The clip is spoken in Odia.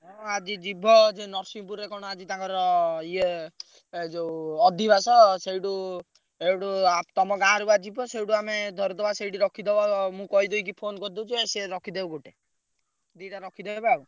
ହଁ ଆଜି ଯିବ ସେ ନରସିଂହ ପୁରରେ କଣ ଆଜି ତାଙ୍କର ଇଏ ଏ ଯୋଉ ଅଧିବେଶ ସେଇଠୁ ସେଇଠୁ ତମ ଗାଁରୁ ବା ଯିବ ସେଇଠୁ ଆମେ ଧରିଦବା ସେଇଠି ରଖିଦବା ମୁଁ କହିଦେଇକି phone କରିଦଉଛି ସେ ରଖିଦେବେ ଗୋଟେ ଦିଟା ରଖିଦେବେ ଆଉ।